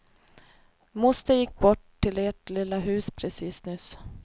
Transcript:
Moster gick bort till ert lilla hus precis nyss.